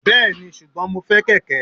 Bẹ́ẹ̀ni, ṣùgbọ́n mo fẹ́ kẹ̀kẹ́.